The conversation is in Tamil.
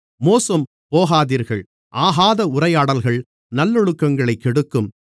மோசம்போகாதீர்கள் ஆகாத உரையாடல்கள் நல்லொழுக்கங்களைக் கெடுக்கும்